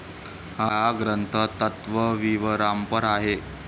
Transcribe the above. हा ग्रंथ तत्वविवरांपर आहे.